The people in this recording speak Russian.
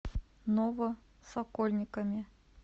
новосокольниками